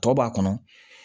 Tɔ b'a kɔnɔ